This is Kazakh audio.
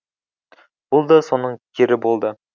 бұл да соның кері болды